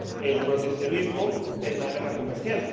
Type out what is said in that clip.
El proteccionismo es la guerra comercial.